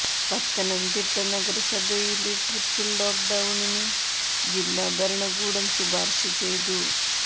പത്തനംതിട്ട നഗരസഭയില് triple lock ഡൌണിന് ജില്ലാ ഭരണകൂടം ശുപാര്ശ ചെയ്തു